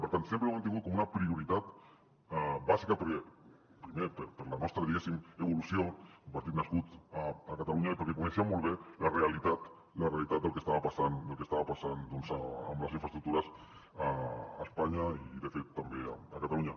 per tant sempre ho hem tingut com una prioritat bàsica perquè primer per la nostra diguéssim evolució un partit nascut a catalunya i perquè coneixíem molt bé la realitat del que estava passant amb les infraestructures a espanya i de fet també a catalunya